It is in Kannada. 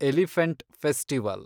elephant festival